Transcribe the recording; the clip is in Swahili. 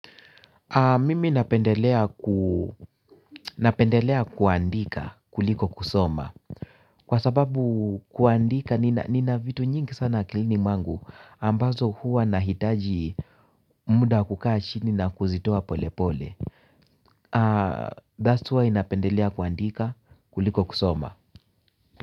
Mimi napendelea kuandika kuliko kusoma. Kwa sababu kuandika nina vitu nyingi sana akilini mwangu ambazo hua nahitaji muda wa kukaa chini na kuzitoa pole pole That's why napendelea kuandika kuliko kusoma.